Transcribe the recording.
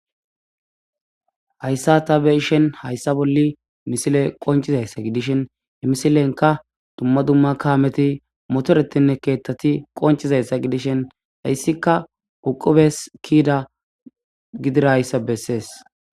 Hayssa ta be'ishin hayssa bolli misile qonccisa iza gidishin misilenka dumma dumma kaameti motoretinne keeththati qonccis iza gidishen hayssika uqubes kiida gidirayissa bessees.